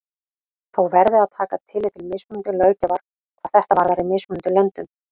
Þó verði að taka tillit til mismunandi löggjafar hvað þetta varðar í mismunandi löndum.